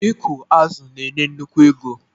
Ịkụ azụ̀ na-enye nnukwu ego